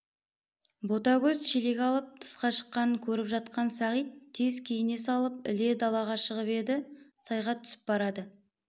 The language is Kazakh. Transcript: ботагөз шелек алып тысқа шыққанын көріп жатқан сағит тез киіне салып іле далаға шығып еді сайға түсіп барады